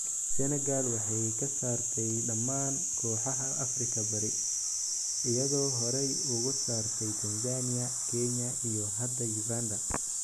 Senegal waxay ka saartay dhammaan kooxaha Afrika Bari, iyadoo horey uga saartay Tanzania, Kenya, iyo hadda Uganda.